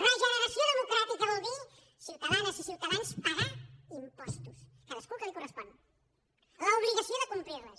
re·generació democràtica vol dir ciutadanes i ciutadans pagar impostos cadascú el que li correspon l’obliga·ció de complir·les